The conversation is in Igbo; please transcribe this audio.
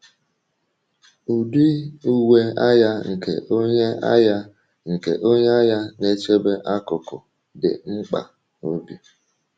Ụdị uwe agha nke onye agha nke onye agha na-echebe akụkụ dị mkpa, obi.